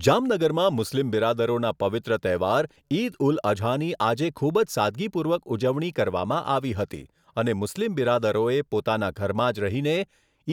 જામનગરમાં મુસ્લિમ બિરાદરોના પવિત્ર તહેવાર ઇદ ઉલ અઝાની આજે ખૂબ જ સાદગીપૂર્વક ઉજવણી કરવામાં આવી હતી અને મુસ્લિમ બિરાદરોએ પોતાના ઘરમાં જ રહીને